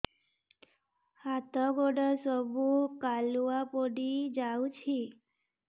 ହାତ ଗୋଡ ସବୁ କାଲୁଆ ପଡି ଯାଉଛି